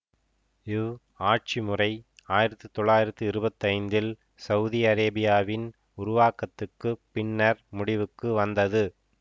இவ் ஆட்சி முறை ஆயிரத்தி தொள்ளாயிரத்தி இருபத்தி ஐந்தில் சவுதி அரேபியாவின் உருவாக்கத்துக்குப் பின்னர் முடிவுக்கு வந்தது